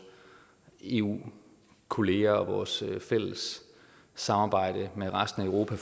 eu kolleger og vores fælles samarbejde med resten af europa